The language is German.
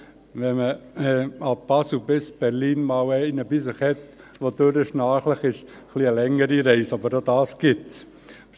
Wenn man ab Basel bis nach Berlin einen Mitreisenden im Abteil hat, der die Nacht durchschnarcht, wird die Reise etwas länger, auch das gibt es.